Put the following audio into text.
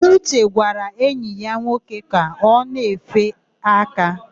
Uche gwara enyi ya nwoke na o na-efe aka.